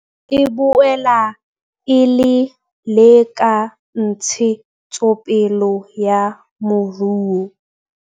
E boela e le le ka ntshetsopele ya moruo.